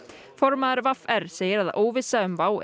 formaður v r segir að óvissa um WOW